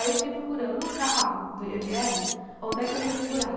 Aí eu fiquei procurando, no carro do i ême éle, onde é que eu ia segurar?